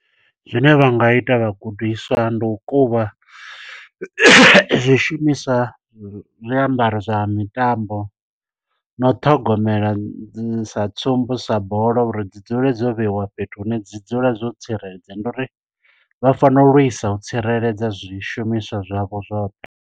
Zwine vha nga ita vhagudiswa, ndi u kuvha zwishumiswa, zwiambaro zwa mitambo, na u ṱhogomela dzi sa tsumbo, sa bola. Uri dzi dzule dzo vheiwa fhethu hune dzi dzula dzo tsireledzea. Ndi uri vha fanela u lwisa u tsireledza zwishumiswa zwavho zwoṱhe.